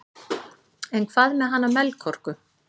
en hvað með hana melkorku